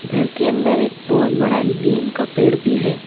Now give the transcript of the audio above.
घर के अन्दर एक बहुत बड़ा नीम का पेड़ भी है।